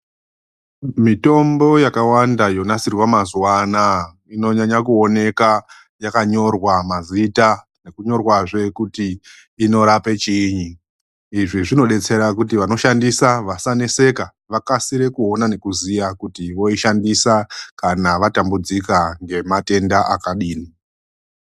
Mitombo yakawanda yonasirwa mazuva anaa inonyanya kuoneka yakanyorwa mazita yonyorwazve kuti inorapa chiinyi izvi zvinodetsera kuti vanoshandisa vasanetseka vakasire kuona nekuziya kuti voishandisa kana vatambudzika ngematenda akadini.